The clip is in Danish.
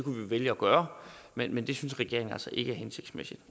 vælge at gøre men men det synes regeringen altså ikke er hensigtsmæssigt